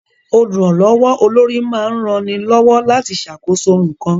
Olùrànlọ́wọ́ olórí máa ń rani lọ́wọ́ láti ṣàkóso nǹkan